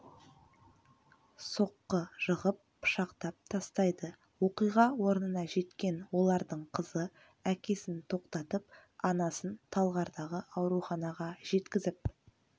соққы жығып пышақтап тастайды оқиға орнына жеткен олардың қызы әкесін тоқтатып анасын талғардағы ауруханаға жеткізіп